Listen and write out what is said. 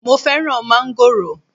Mo fẹ́ràn mángòrò